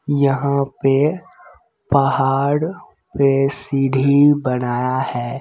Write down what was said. यहाँ पे पहाड़ पे सीढ़ी बनाया है।